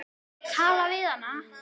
Talaðu við hana.